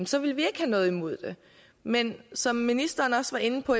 så ville vi ikke have noget imod det men som ministeren også var inde på